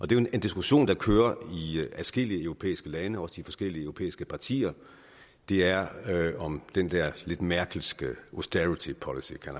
det er jo en diskussion der kører i adskillige europæiske lande og de forskellige europæiske partier det er om den der lidt merkelske austerity policy som